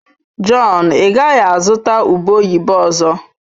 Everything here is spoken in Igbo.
Jọn, ị gaghị azụta ube oyibo ọzọ?